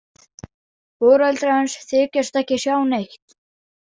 Foreldrar hans þykjast ekki sjá neitt.